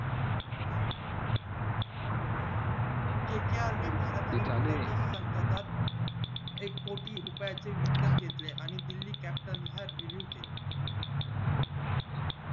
एक कोटी रुपये चे विकत घेतले आणि दिल्ली captain हा review केला